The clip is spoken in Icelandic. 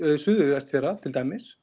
Suður Vestfjarða til dæmis